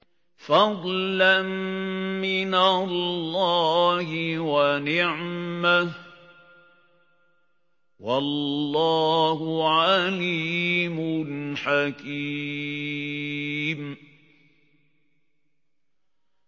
فَضْلًا مِّنَ اللَّهِ وَنِعْمَةً ۚ وَاللَّهُ عَلِيمٌ حَكِيمٌ